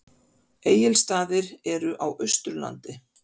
Egilsstaðir eru á Austurlandi.